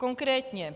Konkrétně.